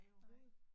Nej